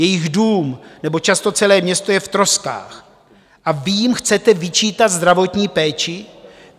Jejich dům nebo často celé město je v troskách a vy jim chcete vyčítat zdravotní péči?